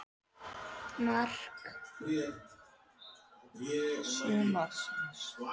Mark sumarsins?